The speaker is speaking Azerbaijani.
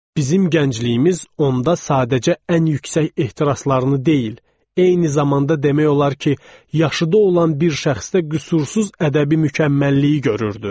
Bizim gəncliyimiz onda sadəcə ən yüksək ehtiraslarını deyil, eyni zamanda demək olar ki, yaşıdı olan bir şəxsdə qüsursuz ədəbi mükəmməlliyi görürdü.